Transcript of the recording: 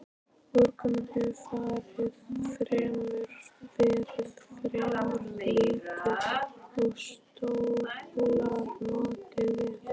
Úrkoman hefur verið fremur lítil og sólar notið vel.